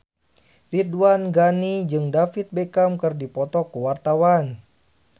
Ridwan Ghani jeung David Beckham keur dipoto ku wartawan